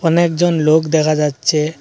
অনেকজন লোক দেখা যাচ্ছে।